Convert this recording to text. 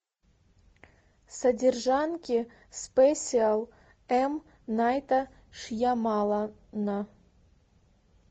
содержанки спесиал эм найта шьямалана